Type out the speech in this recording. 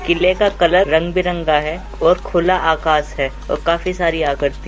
किले का कलर रंग बिरंगा है और खुला आकाश है और काफी सारी आकर्ति --